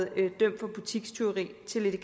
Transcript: er blevet dømt for butikstyveri